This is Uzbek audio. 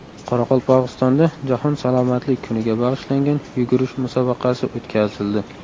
Qoraqalpog‘istonda Jahon salomatlik kuniga bag‘ishlangan yugurish musobaqasi o‘tkazildi.